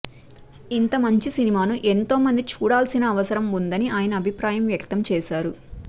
ఇంత మంచి సినిమాను ఎంతో మంది చూడాల్సి న అవసరం ఉందని ఆయన అభిప్రాయం వ్యక్తం చేశారు